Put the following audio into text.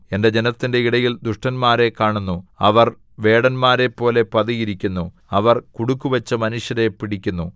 എന്റെ ജനത്തിന്റെ ഇടയിൽ ദുഷ്ടന്മാരെ കാണുന്നു അവർ വേടന്മാരെപ്പോലെ പതിയിരിക്കുന്നു അവർ കുടുക്കുവച്ച് മനുഷ്യരെ പിടിക്കുന്നു